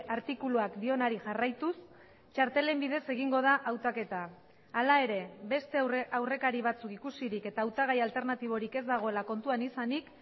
artikuluak dionari jarraituz txartelen bidez egingo da hautaketa hala ere beste aurrekari batzuk ikusirik eta hautagai alternatiborik ez dagoela kontuan izanik